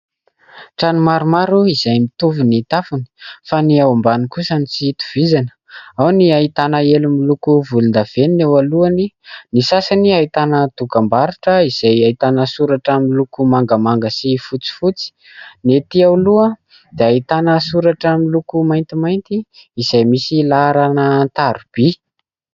Trano maromaro izay mitovy ny tafony fa ny ao ambany kosa no tsy itovizany. Ao ny ahitana elo miloko volon-davenona eo alohany. Ny sasany ahitana dokam-barotra izay ahitana soratra miloko mangamanga sy fotsifotsy. Ny etỳ aloha dia ahitana soratra miloko maintimainty izay misy laharana an-tarobia.